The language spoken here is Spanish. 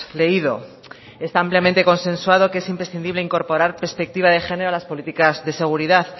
leído está ampliamente consensuado que es imprescindible incorporar perspectiva de género a las políticas de seguridad